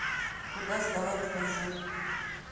куда сдавать лыжи